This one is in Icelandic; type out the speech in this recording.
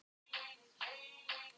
Jóhann: Og prufaðirðu þar?